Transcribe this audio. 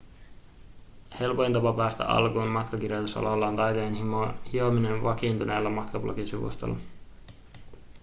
helpoin tapa päästä alkuun matkakirjoitusalalla on taitojen hiominen vakiintuneella matkablogisivustolla